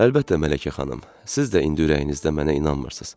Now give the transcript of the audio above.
Əlbəttə, Mələkə xanım, siz də indi ürəyinizdə mənə inanmırsınız.